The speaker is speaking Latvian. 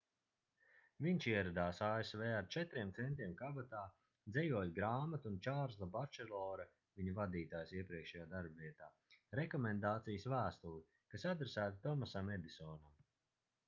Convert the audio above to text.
viņš ieradās asv ar 4 centiem kabatā dzejoļu grāmatu un čārlza bačelora viņa vadītājs iepriekšējā darba vietā rekomendācijas vēstuli kas adresēta tomasam edisonam